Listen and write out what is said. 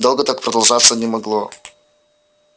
долго так продолжаться не могло